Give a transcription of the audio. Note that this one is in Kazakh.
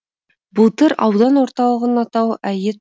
былтыр аудан орталығының атауы әйет